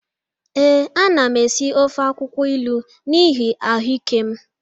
Ee, ana m esi ofe akwụkwọ ilu n'ihi ahụ ike m